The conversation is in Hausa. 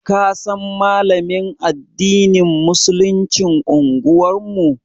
Ka san Malamin addinin Musuluncin unguwar mu.